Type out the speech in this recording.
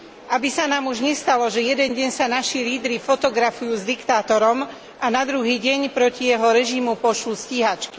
Aby sa nám už nestalo, že jeden deň sa naši lídri fotografujú s diktátorom a na druhý deň proti jeho režimu pošlú stíhačky.